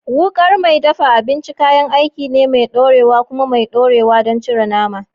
Wukar mai dafa abinci kayan aiki ne mai ɗorewa kuma mai ɗorewa don cire nama.